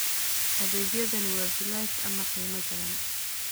Adeegyadani waa bilaash ama qiimo jaban.